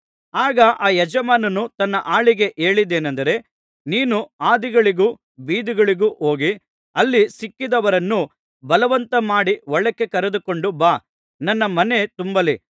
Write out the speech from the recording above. ಆಗ ಆ ಯಜಮಾನನು ತನ್ನ ಆಳಿಗೆ ಹೇಳಿದ್ದೇನೆಂದರೆ ನೀನು ಹಾದಿಗಳಿಗೂ ಬೀದಿಗಳಿಗೂ ಹೋಗಿ ಅಲ್ಲಿ ಸಿಕ್ಕಿದವರನ್ನು ಬಲವಂತಮಾಡಿ ಒಳಕ್ಕೆ ಕರೆದುಕೊಂಡು ಬಾ ನನ್ನ ಮನೆ ತುಂಬಲಿ